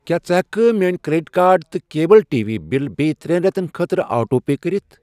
کیٛاہ ژٕ ہٮ۪کہٕ کھہ میٲنۍ کرٛیٚڈِٹ کارڈ تہٕ کیبٕل ٹی وی بِلہٕ بییٚہِ ترے رٮ۪تن خٲطرٕ آٹو پے کٔرِتھ؟